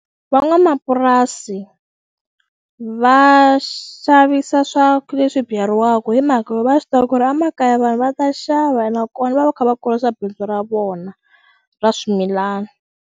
Van'wamapurasi va xavisa leswi byariwaku hi mhaka va swi tiva ku ri emakaya vanhu va ta xava nakona va va kha va kurisa bindzu ra vona ra swimilana.